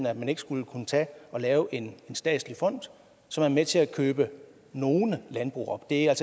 at man ikke skulle kunne lave en statslig fond som er med til at købe nogle landbrug op det er